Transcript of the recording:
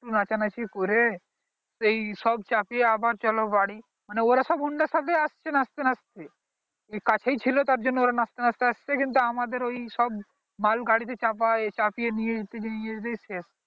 একটু নাচা নাচি করে এই সব চাপিয়ে আবার চলো বাড়ি মানে ওরা সব honda র সাথে আসছে নাচতে নাচতে কাছে ই ছিল তাই জন্য ওরা নাচতে নাচতে আসছে কিন্তু আমাদের ঐই সব মাল গাড়ি তে চাপায়ে চাপিয়ে নিয়ে যেতে যেতেই শেষ